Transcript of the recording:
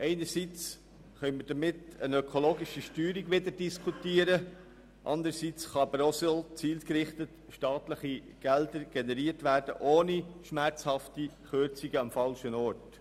Einerseits können wir damit wieder eine ökologische Steuerung diskutieren, anderseits kann so auch zielgerichtet staatliches Geld generiert werden, ohne dass am falschen Ort schmerzhaft gekürzt werden muss.